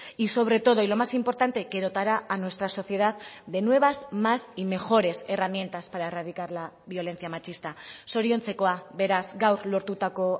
y sobre todo y lo más importante que dotará a nuestra sociedad de nuevas más y mejores herramientas para erradicar la violencia machista zoriontzekoa beraz gaur lortutako